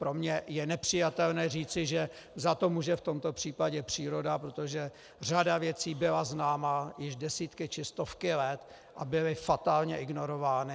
Pro mě je nepřijatelné říci, že za to může v tomto případě příroda, protože řada věcí byla známa již desítky, či stovky let a byly fatálně ignorovány.